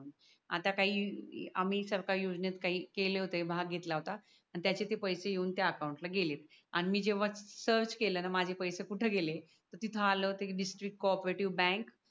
आता काही आम्ही सरकारी योजनेत काही केले होते भाग घेतला होता त्याचे ते पैसे घेऊन त्या अकाउंटला गेलेत आणि जेव्हा सर्च केलं ना माझे पैसे कुठे गेले तर तिथे आले होते डीस्त्रिक्त को ओप्रेटीव बँक